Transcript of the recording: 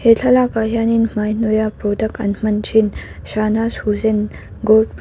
he thlalakah hian in hmai hnawiha product an hman thin shahnaz husain .